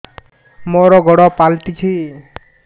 ମୋର ଗୋଡ଼ ପାଲଟିଛି